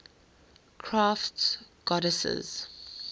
crafts goddesses